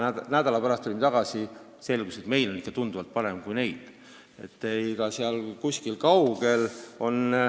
Nädala pärast tulime tagasi ja selgus, et meil on ikka tunduvalt parem kui neil.